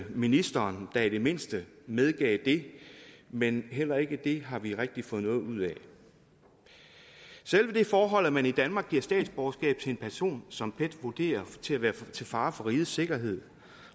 ministeren da i det mindste medgav det men heller ikke det har vi rigtig fået noget ud af selve det forhold at man i danmark giver statsborgerskab til en person som pet vurderer til at være til fare for rigets sikkerhed